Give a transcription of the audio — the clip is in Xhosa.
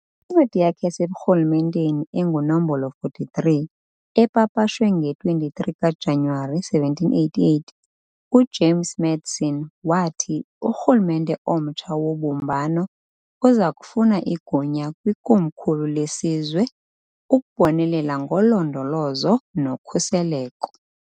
Kwincwadi yakhe yaseburhulumenteni enguNomb. 43, epapashwe nge-23 kaJanuwari, 1788, uJames Madison wathi urhulumente omtsha wobumbano uzakufuna igunya kwikomkhulu lesizwe ukubonelela ngolondolozo nokhuseleko.